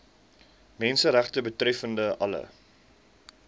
menseregte betreffende alle